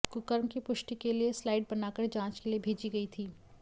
कुकर्म की पुष्टि के लिए स्लाइड बनाकर जांच के लिए भेजी गई थी